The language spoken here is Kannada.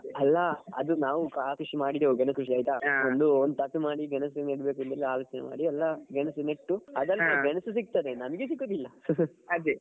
ಅಲ್ಲಾ ನಾವು ಸ ಕೃಷಿ ಮಾಡಿದ್ದೇವೆ ಗೆಣಸು ಕೃಷಿ ಆಯ್ತಾ ಒಂದು ಮಾಡಿ ಗೆಣಸು ನಡ್ಬೇಕಂತ ಆಲೋಚನೆ ಮಾಡಿ ಎಲ್ಲ ಗೆಣಸು ನೆಟ್ಟು . ಅದ್ರಲ್ಲಿ ಗೆಣಸು ಸಿಕ್ತದೆ ನನಿಗೆ ಸಿಕುದಿಲ್ಲ ಅದೇ.